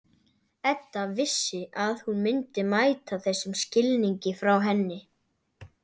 Edda vissi að hún myndi mæta þessum skilningi frá henni.